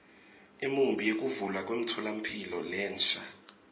imiumbi yekuvulwa kwemtfolamphila lensha